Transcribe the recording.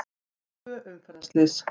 Tvö umferðarslys